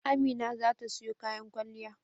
Amina za ta siyo kayan kwalliya.